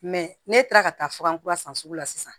ne taara ka taa fura kura san sugu la sisan